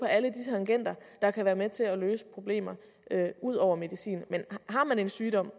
alle de tangenter der kan være med til at løse problemerne ud over medicin men har man en sygdom